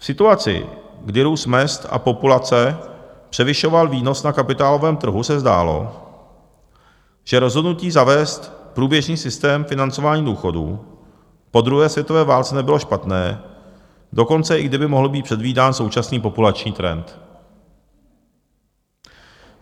V situaci, kdy růst mezd a populace převyšoval výnos na kapitálovém trhu, se zdálo, že rozhodnutí zavést průběžný systém financování důchodů po druhé světové válce nebylo špatné, dokonce i kdyby mohl být předvídán současný populační trend.